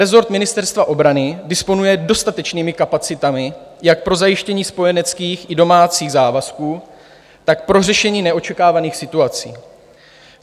Rezort Ministerstva obrany disponuje dostatečnými kapacitami jak pro zajištění spojeneckých i domácích závazků, tak pro řešení neočekávaných situací.